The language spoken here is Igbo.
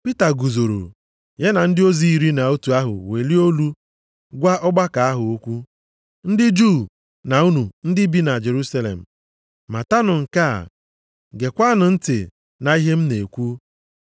Pita guzoro, ya na ndị ozi iri na otu ahụ welie olu gwa ọgbakọ ahụ okwu, “Ndị Juu na unu ndị bi na Jerusalem, matanụ nke a, geekwanụ ntị na ihe m na-ekwu.